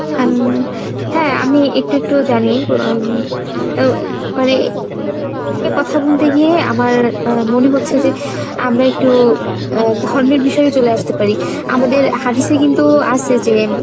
উম হ্যাঁ আমি একটু একটু জানি এও মানে কথা বলতে গিয়ে আমার আহ মনে হচ্ছে যে আমরা একটু আহ ধর্মের বিষয়ে চলে আসতে পারি আমাদের হাদিসে কিন্তু আছে যে